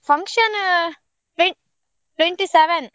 Function, twen~ twenty seven.